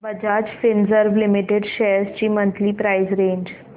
Bajaj Finserv limited shares ची monthly price range